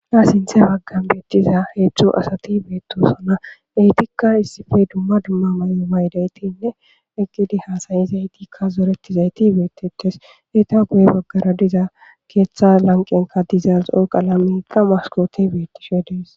Naa sinthe baggan beettiza heechcho asati beettosona eytikka issife dumma dumma may'o waydaytinne eggidi haasayi zaytikka zoreti zayti beettetes eeta guye baggara diza keeththa lanqenka dizalxo qalameta maskoti beettishe dees.